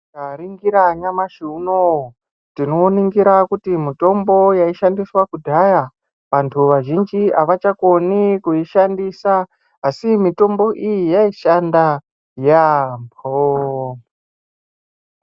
Tikaningira nyamashi unowu tinoningira kuti mitombo yaishandiswa kudhaya vantu Vazhinji avachakoni kuishandisa asi mitombo iyi yaishanda yambo.